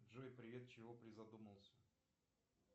джой привет чего призадумался